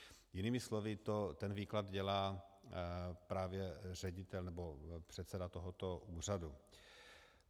Jinými slovy, ten výklad dělá právě ředitel, nebo předseda tohoto úřadu.